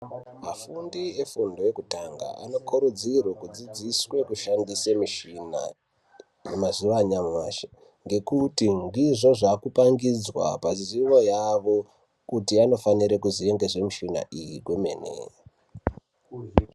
Vafundi vefundo yekutanga nokurudzirwe kudzidziswe kushandise mishina ,mumazuwa anyamashi ngekuti ndizvo zvaakupangidzwa pazivo, yavo kuti anofanire kuziva zvemishina iyi kwemene.